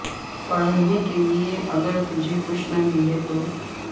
پڑھنے کے لئے اگر تجھے کچھ نہ ملے تو